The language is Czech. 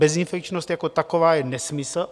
Bezinfekčnost jako taková je nesmysl.